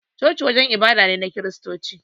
Coci wajen ibada ne na kiristoci